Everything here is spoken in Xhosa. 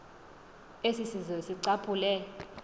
esi sizwe sicaphule